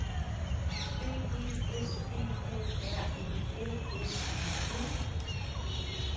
B E S P A R E L S E N